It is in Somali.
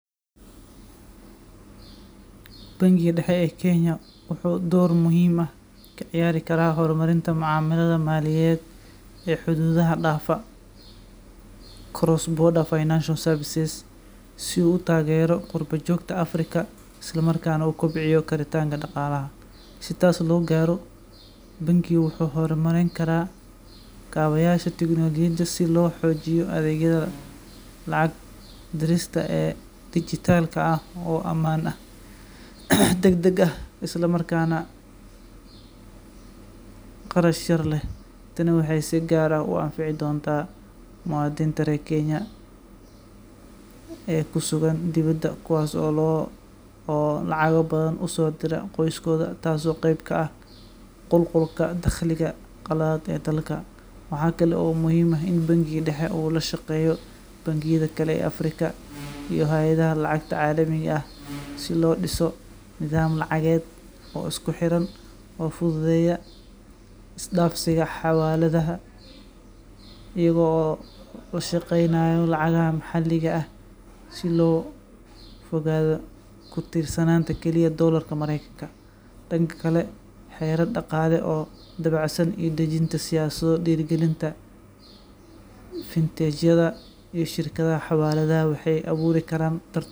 Bangiga Dhexe ee Kenya wuxuu door muhiim ah ka ciyaari karaa horumarinta macaamiillada maaliyadeed ee xuduudaha dhaafa cross-border financial services si uu u taageero qurbo-joogta Afrika isla markaana u kobciyo karitaanka dhaqaalaha. Si taas loo gaaro, bangigu wuxuu horumarin karaa kaabayaasha tignoolajiyadda si loo xoojiyo adeegyada lacag dirista ee dijitaalka ah oo ammaan ah, degdeg ah, isla markaana kharash yar leh. Tani waxay si gaar ah u anfici doontaa muwaadiniinta reer Kenya ee ku sugan dibadda, kuwaas oo lacago badan usoo dira qoysaskooda, taasoo qayb ka ah qulqulka dakhliga qalaad ee dalka. Waxaa kale oo muhiim ah in Bangiga Dhexe uu la shaqeeyo bangiyada kale ee Afrika iyo hay’adaha lacagta caalamiga ah si loo dhiso nidaam lacageed oo isku xiran oo fududeeya isdhaafsiga xawaaladaha, iyada oo la adeegsanayo lacagaha maxalliga ah si looga fogaado ku tiirsanaanta kaliya dollarka Mareykanka. Dhanka kale, xeerar dhaqaale oo dabacsan iyo dejinta siyaasado dhiirrigeliya fintech-yada iyo shirkadaha xawaaladaha waxay abuuri karaan tartan